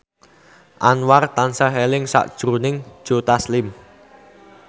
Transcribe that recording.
Anwar tansah eling sakjroning Joe Taslim